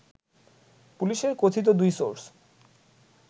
পুলিশের কথিত দুই সোর্স